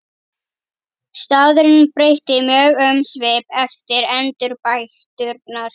Staðurinn breytti mjög um svip eftir endurbæturnar.